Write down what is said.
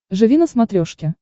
живи на смотрешке